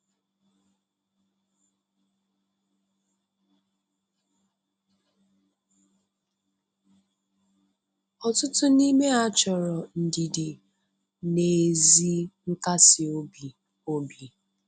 Ọtụtụ n'ime ha chọrọ ndidi na ezi nkasi obi. obi.